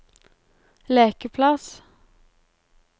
lekeplass